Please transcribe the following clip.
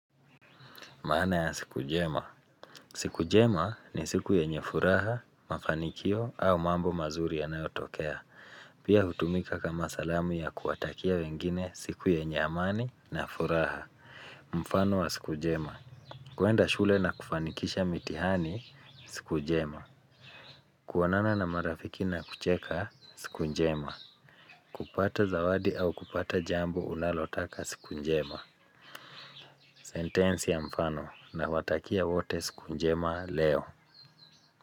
Maana ya siku jema. Siku jema ni siku yenye furaha, mafanikio au mambo mazuri yanayotokea. Pia hutumika kama salamu ya kuwatakia wengine siku yenye amani na furaha. Mfano wa siku jema. Kuenda shule na kufanikisha mitihani siku jema. Kuonana na marafiki na kucheka siku njema. Kupata zawadi au kupata jambo unalotaka siku njema. Sentensi ya mfano nawatakia wote siku njema leo.